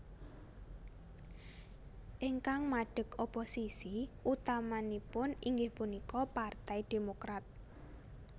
Ingkang madheg oposisi utamanipun inggih punika Partai Demokrat